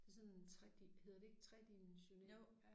Det sådan 3 hedder det ikke tredimensionel